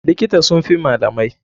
Likita sun fi malamai.